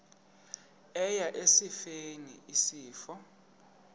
eya esifeni isifo